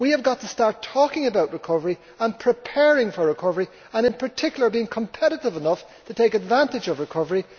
We need to start talking about recovery and preparing for recovery and, in particular, being competitive enough to take advantage of recovery.